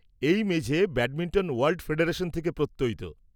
এই মেঝে badminton world federation থেকে প্রত্যয়িত।